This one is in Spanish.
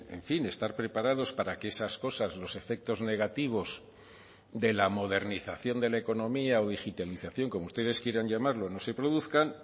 en fin estar preparados para que esas cosas los efectos negativos de la modernización de la economía o digitalización como ustedes quieran llamarlo no se produzcan